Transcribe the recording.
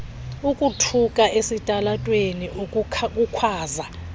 ukuthuka esitalatweni ukukhwaza